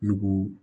Nugu